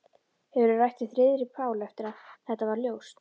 Hefurðu rætt við Friðrik Pál eftir að þetta varð ljóst?